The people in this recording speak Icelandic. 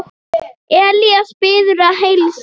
Elías biður að heilsa.